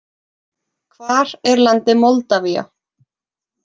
Hvar er landið Moldavía?